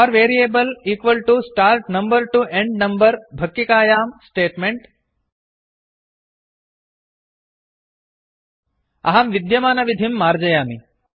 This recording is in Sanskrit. for variable start number to end number भक्किकायां Statement अहं विद्यमानविधिं मार्जयामि